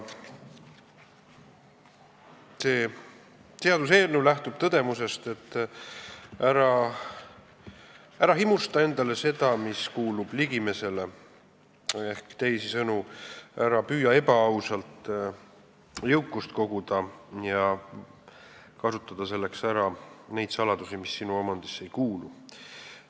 See seaduseelnõu lähtub tõdemusest, et ära himusta endale seda, mis kuulub ligimesele, ehk teisisõnu, ära püüa ebaausalt jõukust koguda ja kasutada selleks ära neid saladusi, mis sinu omandisse ei kuulu.